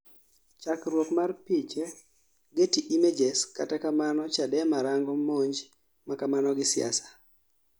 Chakruok mar piche , Getty Images kata kamano Chadema rango monj makamano gi siasa